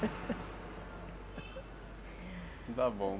está bom